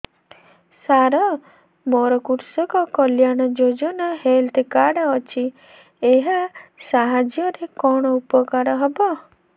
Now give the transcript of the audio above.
ସାର ମୋର କୃଷକ କଲ୍ୟାଣ ଯୋଜନା ହେଲ୍ଥ କାର୍ଡ ଅଛି ଏହା ସାହାଯ୍ୟ ରେ କଣ ଉପକାର ହବ